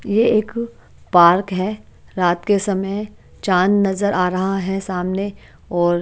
ये एक पार्क है रात के समय चांद नजर आ रहा है सामने और--